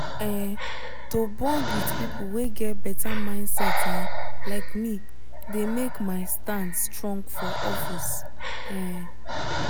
um to bond with people wey get better mindset um like me dey make my stand strong for office. um